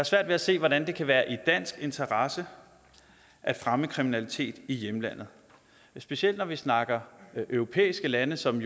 svært ved at se hvordan det kan være i dansk interesse at fremme kriminalitet i hjemlandet specielt når vi snakker europæiske lande som